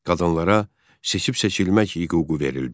Qadınlara seçib-seçilmək hüququ verildi.